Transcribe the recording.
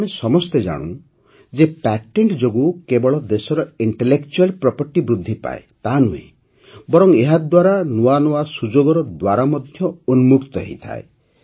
ଆମେ ସମସ୍ତେ ଜାଣୁ ଯେ ପ୍ୟାଟେଣ୍ଟ ଯୋଗୁଁ କେବଳ ଦେଶର ଇଂଟେଲେକଚୁଆଲ୍ ପ୍ରପର୍ଟି ବୃଦ୍ଧି ପାଏ ତାହା ନୁହେଁ ବରଂ ଏହାଦ୍ୱାରା ନୂଆ ନୂଆ ସୁଯୋଗର ଦ୍ୱାର ମଧ୍ୟ ଉନ୍ମୁକ୍ତ ହୋଇଥାଏ